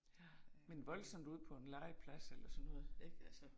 Ja, men voldsomt ude på en legeplads eller sådan noget, ik, altså